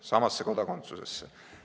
Samasse kodakondsusse!